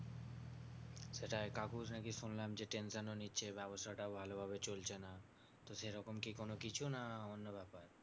সেটাই কাকুর নাকি শুনলাম যে tension ও নিচ্ছে ব্যাবসাটাও ভালো ভাবে চলছে না। তো সেরকম কি কোনোকিছু না অন্য ব্যাপার?